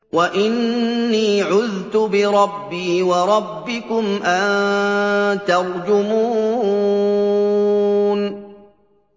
وَإِنِّي عُذْتُ بِرَبِّي وَرَبِّكُمْ أَن تَرْجُمُونِ